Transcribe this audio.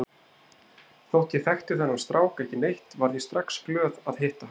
Þótt ég þekkti þennan strák ekki neitt varð ég strax glöð að hitta hann.